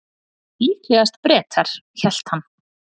Líklegast Bretar, hélt hann.